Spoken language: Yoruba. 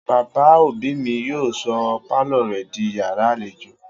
Bàbá òbí mi yóò sọ pálọ̀ rẹ̀ di yàrá-àlejò